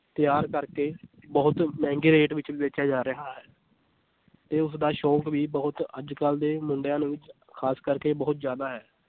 ਤਿਆਰ ਕਰਕੇ ਬਹੁਤ ਮਹਿੰਗੇ rate ਵਿੱਚ ਵੇਚਿਆ ਜਾ ਰਿਹਾ ਹੈ ਤੇ ਉਸਦਾ ਸ਼ੌਂਕ ਵੀ ਬਹੁਤ ਅੱਜ ਕੱਲ੍ਹ ਦੇ ਮੁੰਡਿਆਂ ਦੇ ਵਿੱਚ ਖਾਸ ਕਰਕੇ ਬਹੁਤ ਜ਼ਿਆਦਾ ਹੈ